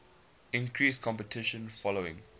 increased competition following